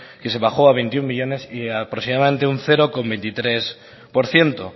que se bajó a veintiuno millónes y aproximadamente un cero coma veintitrés por ciento